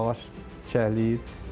Ağac çiçəkləyir.